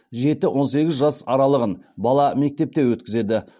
жеті он сегіз жас аралығын бала мектепте өткізеді